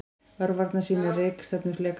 Örvarnar sýna rekstefnu flekanna.